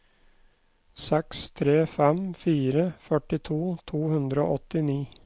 seks tre fem fire førtito to hundre og åttini